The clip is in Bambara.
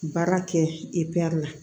Baara kɛ la